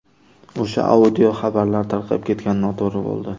O‘sha audio xabarlar tarqab ketgani noto‘g‘ri bo‘ldi.